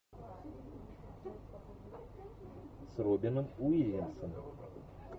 с робином уильямсом